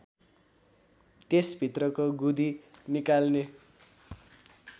त्यस भित्रको गुदी निकाल्ने